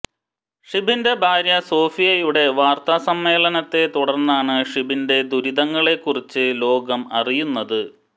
ഷിബിന്റെ ഭാര്യ സോഫിയയുടെ വാര്ത്ത സമ്മേളനത്തെ തുടര്ന്നാണ് ഷിബിന്റെ ദുരിതങ്ങളെക്കുറിച്ച് ലോകം അറിയുന്നത്